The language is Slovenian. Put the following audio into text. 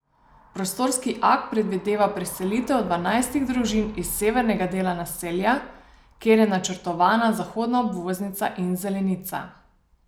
Prostorski akt predvideva preselitev dvanajstih družin iz severnega dela naselja, kjer je načrtovana zahodna obvoznica in zelenica.